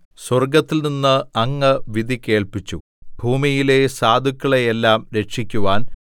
സ്വർഗ്ഗത്തിൽനിന്ന് അങ്ങ് വിധി കേൾപ്പിച്ചു ഭൂമിയിലെ സാധുക്കളെയെല്ലാം രക്ഷിക്കുവാൻ